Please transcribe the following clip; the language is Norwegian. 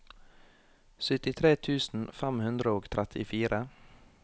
syttitre tusen fem hundre og trettifire